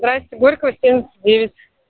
здравствуйте горького семьдесят девять